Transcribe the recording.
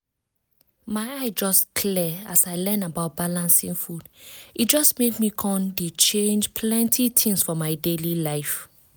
my eye just clear as i learn about balancing food e just make me come dey change plenty things for my daily life.